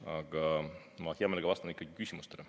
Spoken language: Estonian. Aga ma hea meelega vastan ikkagi küsimustele.